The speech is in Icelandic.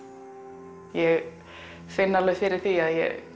ég finn alveg fyrir því